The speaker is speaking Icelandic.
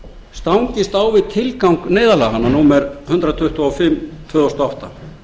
stangist á við tilgang neyðarlaganna númer hundrað tuttugu og fimm tvö þúsund og átta